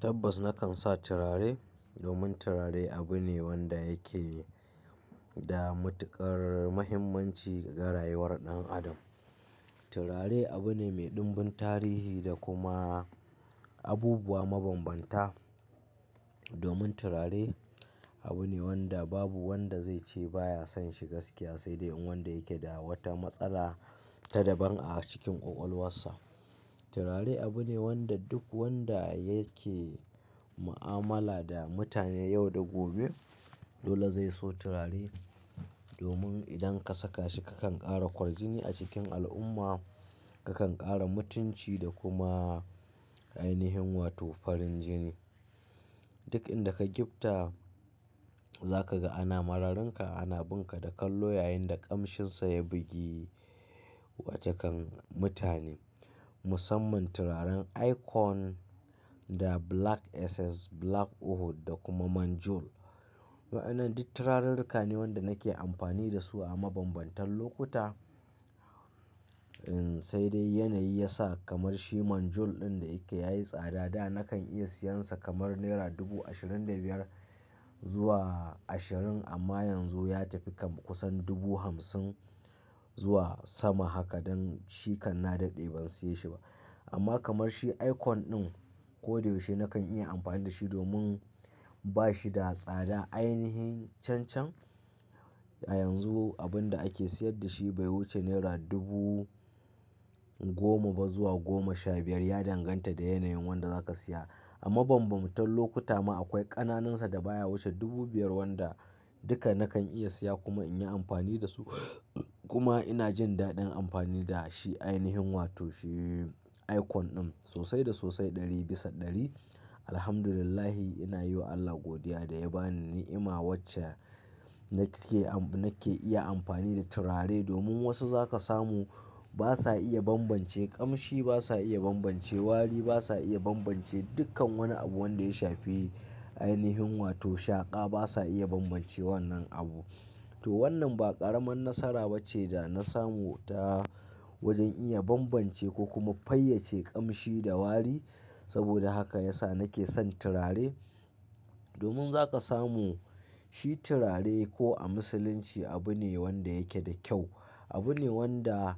Tabbas na kan sa turare domin turare abu ne wanda yake da matuƙar muhimmanci ga rayuwar ɗan adam. Turare abu ne mai ɗumbin tarihi da kuma abubuwa mabanbanta domin turare abu ne wanda babu wanda zai ce ba ya son shi gaskiya sai dai in wanda yake da wata matsala ta daban a cikin ƙwaƙwalwarsa. Turare abu ne wanda duk wanda yake mu'amala da mutane yau da gobe dole zai so turare domin idan ka saka shi kakan ƙara ƙwarjini a cikin al'umma, kakan ƙara mutunci da kuma ainihin wato farin jini. Duk inda ka gifta za ka ga ana mararinka, ana binka da kallo yayinda ƙamshinsa ya bugi watakan mutane. Musamman turaren Icon da Black SS, Black Ohud da kuma Manjul. Wa'anan duk turarurruka ne wanda nake amfani da su a mabambantan lokuta. Sai dai yanayi ya sa kamar shi Manjul ɗin da yake yayi tsada, da na kan iya siyan sa kamar naira dubu ashirin da biyar zuwa ashirin amma yanzu ya tafi kam kusan dubu hamsin zuwa sama haka dan shi kan na daɗe ban siyeshi ba. Amma kamar shi Icon ɗin ko da yaushe na kan iya amfani da shi domin ba shi da tsada ainihin cancan. A yanzu abun da ake siyar da shi bai wuce naira dubu goma ba zuwa goma sha biyar, ya danganta da yanayin wanda zaka siya. A mabambantan lokuta ma akwai ƙananun sa da baya wuce dubu biyar wanda duka na kan iya siya kuma in yi amfani da su kuma ina jin daɗin amfani da shi ainihin wato shi Icon ɗin sosai da sosai ɗari bisa ɗari. Alhamdulillahi ina yi wa Allah godiya da ya ba ni ni'ima wacce nake iya amfani da turare domin wasu za ka samu basa iya bambance ƙamshi, basa iya bambance wari, basa iya bambance dukkan wani abu wanda ya shafi ainihin wato shaƙa basa iya bambance wannan abu. To wannan ba ƙaramin nasara ba ce da na samu ta wajen iya bambance ko kuma fayyace ƙamshi da wari saboda haka ya sa nake son turare. Domin za ka samu shi turare ko a Musulunci abu ne wanda yake da kyau. Abu ne wanda